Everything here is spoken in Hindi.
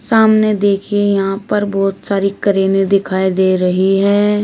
सामने देखिए यहां पर बहुत सारी करेंनें दिखाई दे रही हैं।